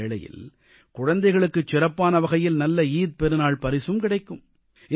இந்த வேளையில் குழந்தைகளுக்குச் சிறப்பான வகையில் நல்ல ஈகை பெருநாள் பரிசு கிடைக்கும்